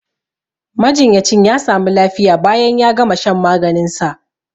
Majinyacin ya sami lafiya bayan ya gama shan maganin sa